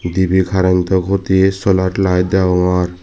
dibay carantow huti solar light dagogor.